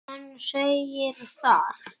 Hann segir þar